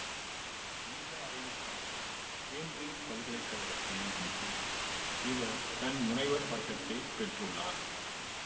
இந்த ஆய்வுக்காக கேம்பிரிட்ஜ் பல்கலை கழகத்தில் இருந்து இவர் தன் முனைவர் பட்டத்தை பெற்றுள்ளார்